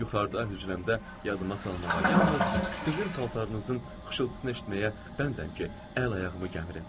Mən yuxarıda hücrəmdə yadıma salmağa yalnız sizin paltarınızın xışıltısını eşitməyə bəndəm ki, əl-ayağımı gəmirm.